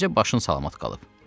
Bircə başın salamat qalıb.